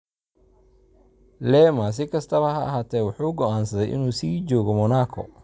Lemar si kastaba ha ahaatee wuxuu go'aansaday inuu sii joogo Monaco.